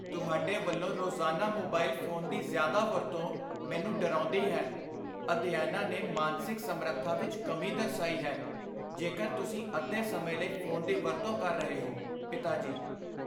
ਤੁਹਾਡੇ ਵੱਲੋਂ ਰੋਜ਼ਾਨਾ ਮੋਬਾਈਲ ਫੋਨ ਦੀ ਜ਼ਿਆਦਾ ਵਰਤੋਂ ਮੈਨੂੰ ਡਰਾਉਂਦੀ ਹੈ ਅਧਿਐਨਾਂ ਨੇ ਮਾਨਸਿਕ ਸਮਰੱਥਾ ਵਿੱਚ ਕਮੀ ਦਰਸਾਈ ਹੈ ਜੇਕਰ ਤੁਸੀਂ ਅੱਧੇ ਸਮੇਂ ਲਈ ਫੋਨ ਦੀ ਵਰਤੋਂ ਕਰ ਰਹੇ ਹੋ ਪਿਤਾ ਜੀ